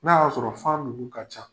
N'a y'a sɔrɔ fan ninnu ka ca.